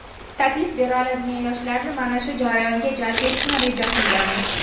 taklif bera oladigan yoshlarni mana shu jarayonga jalb etishni reja qilganmiz.